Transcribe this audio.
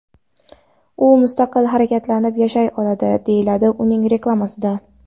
U mustaqil harakatlanib yashay oladi”, deyiladi uning reklamasida.